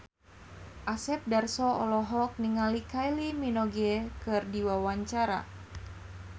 Asep Darso olohok ningali Kylie Minogue keur diwawancara